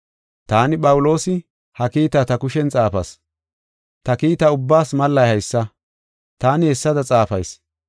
Taani Phawuloosi, ha kiitaa ta kushen xaafas. Ta kiita ubbaas mallay haysa; taani hessada xaafayis.